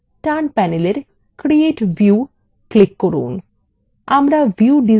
ডান panel create view click করুন